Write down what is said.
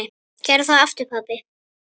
Gerðu það aftur pabbi!